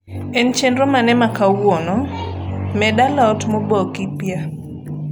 en chenro mane ma kawuono med a lot moboki pya